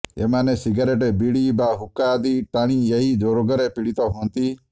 ଏମାନେ ସିଗାରେଟ୍ ବିଡି ବା ହୁକ୍କା ଆଦି ଟାଣି ଏହି ରୋଗରେ ପୀଡ଼ିତ ହୁଅନ୍ତି